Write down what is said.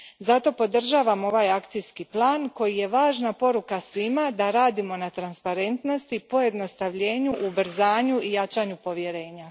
Zato podržavam ovaj akcijski plan koji je važna poruka svima da radimo na transparentnosti, pojednostavljenju, ubrzanju i jačanju povjerenja.